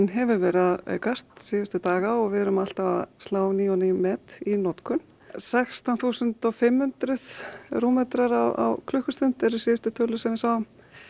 hefur verið að aukast síðustu daga og við erum alltaf að slá ný og ný met í notkun sextán þúsund og fimm hundruð rúmmetrar á klukkustund eru síðustu tölur sem við sáum